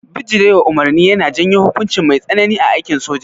Bijirewa umarni yana janyo hukunci mai tsanani a aikin soja